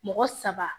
Mɔgɔ saba